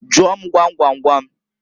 Jụọ m gwam gwam gwam?